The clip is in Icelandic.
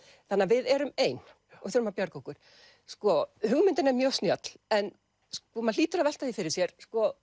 þannig að við erum ein og þurfum að bjarga okkur sko hugmyndin er mjög snjöll en maður hlýtur að velta því fyrir sér